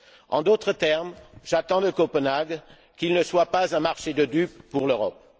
En d'autres termes, j'attends de Copenhague qu'il ne soit pas un marché de dupes pour l'Europe.